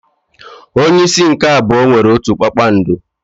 Onye isi nke abụọ nwere otu kpakpando.